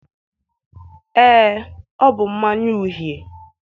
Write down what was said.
ee, ọ bụ mmanya uhie